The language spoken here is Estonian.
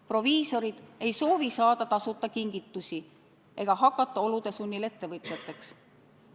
Proviisorid ei soovi saada tasuta kingitusi ega hakata olude sunnil ettevõtjateks.